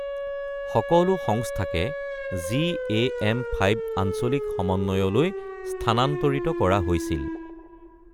সকলো সংস্থাকে জিএএম ৫ আঞ্চলিক সমন্বয়লৈ স্থানান্তৰিত কৰা হৈছিল।